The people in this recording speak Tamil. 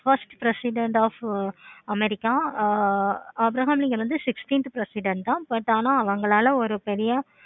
first president of america ah Abraham Lincoln வந்து sixteen president தான் but ஆனா அவங்களா ஒரு பெரிய